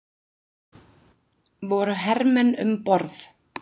Voru hermenn um borð?